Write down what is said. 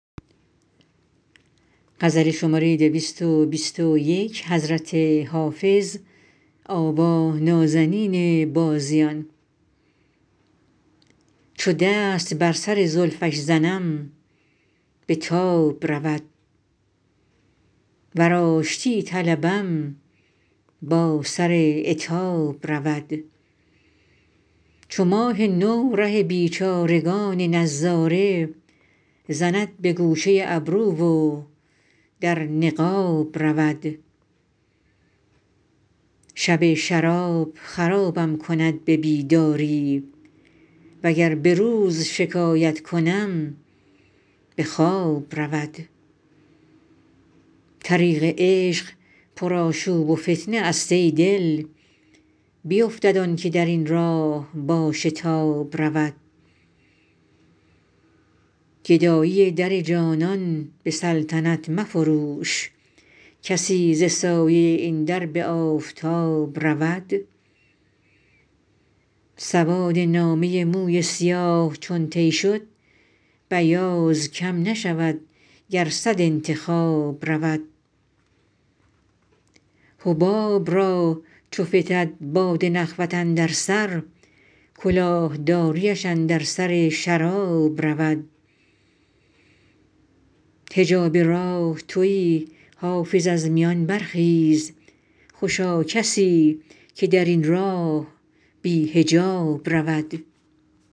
چو دست بر سر زلفش زنم به تاب رود ور آشتی طلبم با سر عتاب رود چو ماه نو ره بیچارگان نظاره زند به گوشه ابرو و در نقاب رود شب شراب خرابم کند به بیداری وگر به روز شکایت کنم به خواب رود طریق عشق پرآشوب و فتنه است ای دل بیفتد آن که در این راه با شتاب رود گدایی در جانان به سلطنت مفروش کسی ز سایه این در به آفتاب رود سواد نامه موی سیاه چون طی شد بیاض کم نشود گر صد انتخاب رود حباب را چو فتد باد نخوت اندر سر کلاه داریش اندر سر شراب رود حجاب راه تویی حافظ از میان برخیز خوشا کسی که در این راه بی حجاب رود